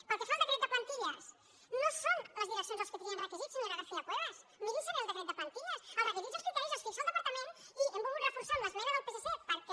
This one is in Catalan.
pel que fa al decret de plantilles no són les direccions les que trien requisits senyora garcia cuevas mi·rin·se bé el decret de plantilles els requisits i els cri·teris els fixa el departament i ho hem volgut reforçar amb l’esmena del psc perquè